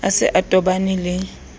a se a tobane le